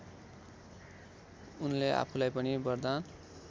उनले आफूलाई पनि वरदान